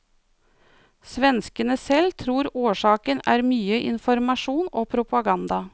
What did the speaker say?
Svenskene selv tror årsaken er mye informasjon og propaganda.